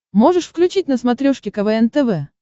можешь включить на смотрешке квн тв